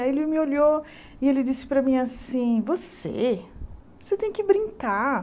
Aí ele me olhou e ele disse para mim assim, você, você tem que brincar.